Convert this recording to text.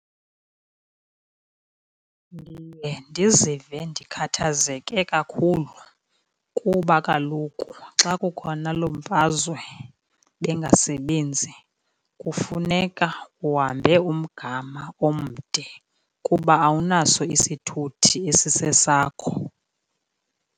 Ndiye ndizive ndikhathazeke kakhulu kuba kaloku xa kukhona loo mfazwe bengasebenzi kufuneka uhambe umgama omde kuba awunaso isithuthi esisesakho.